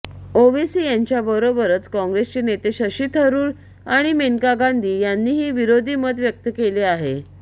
ओवेसी यांच्याबरोबरच काँग्रेसचे नेते शशी थरूर आणि मेनका गांधी यांनीही विरोधी मत व्यक्त केले आहे